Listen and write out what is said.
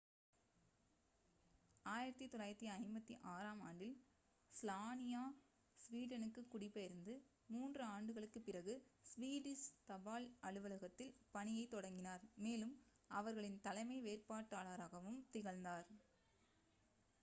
1956-ஆம் ஆண்டில் ஸ்லானியா ஸ்வீடனுக்குக் குடிபெயர்ந்து மூன்று ஆண்டுகளுக்குப் பிறகு ஸ்வீடிஷ் தபால் அலுவலகத்தில் பணியைத் தொடங்கினார் மேலும் அவர்களின் தலைமை வேலைப்பாட்டாளராகவும் திகழ்ந்தார்